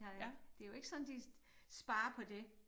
Der ik det jo ikke sådan de sparer på det